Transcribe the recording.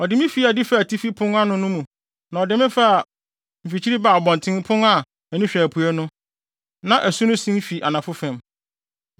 Ɔde me fii adi faa atifi fam pon no mu na ɔde me faa mfikyiri baa abɔntenpon a ani hwɛ apuei no, na na asu no sen fi anafo fam.